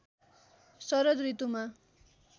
शरद ऋतुमा